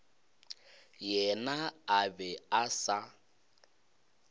yena a be a sa